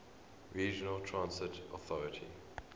regional transit authority